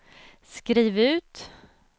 skriv ut